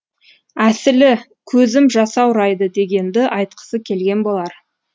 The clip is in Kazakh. әсілі көзім жасаурайды дегенді айтқысы келген болар